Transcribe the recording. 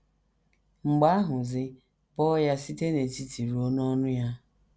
Mgbe ahụzi, bọọ ya site n’etiti ruo n’ọnụ ya.